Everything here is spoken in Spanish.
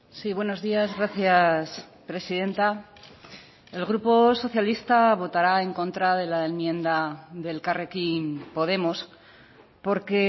sí buenos días gracias presidenta el grupo socialista votará en contra de la enmienda de elkarrekin podemos porque